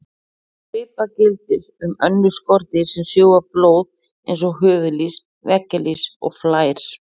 Svipað gildir um önnur skordýr sem sjúga blóð eins og höfuðlýs, veggjalýs og flær.